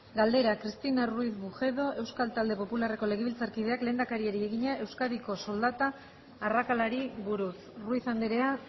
galdera cristina ruiz bujedo euskal talde popularreko legebiltzarkideak lehendakariari egina euskadiko soldata arrakalari buruz ruiz andrea